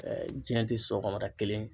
jiɲɛ tɛ sɔgɔmada kelen ye.